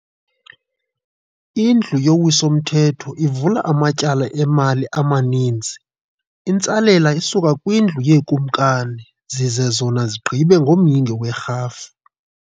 indlu yowiso mthetho ivula amatyala emali amaninzi, intsalela isuka kwindlu yezikumkani, zize zona zigqibe ngomyinge werhafu